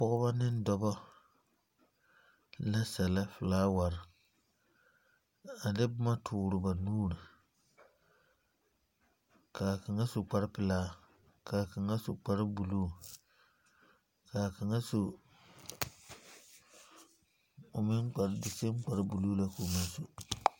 Pɔga neŋ dɔbɔ, la sɛllɛ felaaware, a de boma tore ba nuuri, ka a kaŋa su kparepelaa, ka a kaŋa su kparebuluu, ka a kaŋa su, o meŋ kpare, di sam kparebuluu la ko meŋ su.